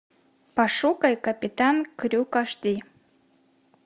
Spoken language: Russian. пошукай капитан крюк аш ди